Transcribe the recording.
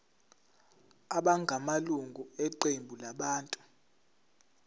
abangamalunga eqembu labantu